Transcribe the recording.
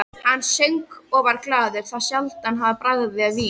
Hann söng og var glaður, þá sjaldan hann bragðaði vín.